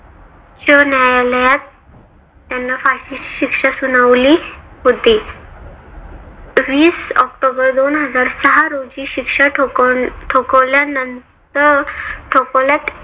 सर्वोच्च न्यायालयात त्यांना फाशीची शिक्षा सुनावली होती. वीस ऑक्टोबर दोन हजार रोजी शिक्षा ठोकाव ठोकावल्यानंतर ठोकोलात